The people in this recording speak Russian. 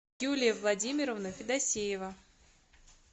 юлия владимировна федосеева